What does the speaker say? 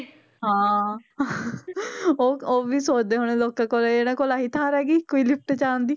ਹਾਂ ਉਹ ਉਹ ਵੀ ਸੋਚਦੇ ਹੋਣੇ ਲੋਕਾਂ ਕੋਲੇ ਇਹਨਾਂ ਕੋਲ ਆਹੀ ਤਾਰ ਹੈਗੀ ਕੋਈ lift 'ਚ ਆਉਣ ਦੀ।